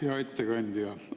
Hea ettekandja!